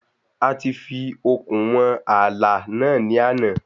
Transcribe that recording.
A ti fi okùn wọn ààlà náà ní àná.